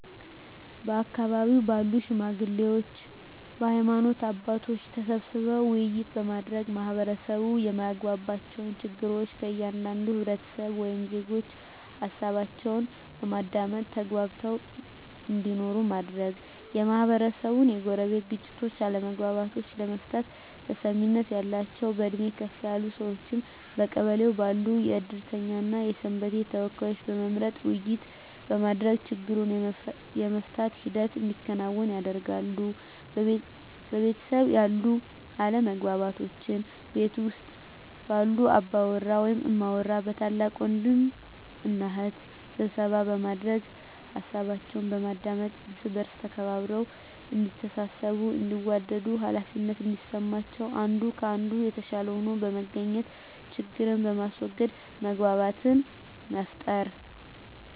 በአካባቢው ባሉ ሽማግሌዎች በሀይማኖት አባቶች ተሰብስበው ውይይት በማድረግ ማህበረሰቡ የማያግባባቸውን ችግር ከእያንዳንዱ ህብረተሰብ ወይም ዜጎች ሀሳባቸውን በማዳመጥ ተግባብተው እንዲኖሩ ማድረግ, የማህበረሰቡን የጎረቤት ግጭቶችን አለመግባባቶችን ለመፍታት ተሰሚነት ያላቸውን በእድሜ ከፍ ያሉ ሰዎችን በቀበሌው ባሉ የእድርተኛ እና የሰንበቴ ተወካዮችን በመምረጥ ውይይት በማድረግ ችግሩን የመፍታት ሂደት እንዲከናወን ያደርጋሉ። በቤተሰብ ያሉ አለመግባባቶችን ቤት ውስጥ ባሉ አባወራ ወይም እማወራ በታላቅ ወንድም እና እህት ስብሰባ በማድረግ ሀሳባቸውን በማዳመጥ እርስ በእርስ ተከባብረው እዲተሳሰቡ እንዲዋደዱ ሃላፊነት እንዲሰማቸው አንዱ ከአንዱ የተሻለ ሆኖ በመገኘት ችግርን በማስዎገድ መግባባትን መፍጠር።